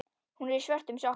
Hún er í svörtum sokkum.